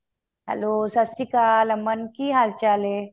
hello Sat Sri Akal ਏ ਅਮਨ ਕਿ ਹਾਲ ਚਾਲ ਏ